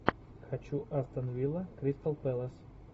хочу астон вилла кристал пэлас